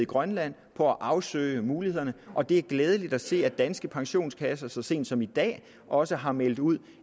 grønland på at afsøge mulighederne og det er glædeligt at se at danske pensionskasser så sent som i dag også har meldt ud